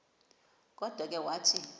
kodwa ke wathi